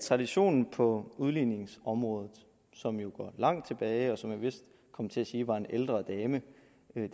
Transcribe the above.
traditionen på udligningsområdet som jo går langt tilbage og som jeg vist kom til at sige var en ældre dame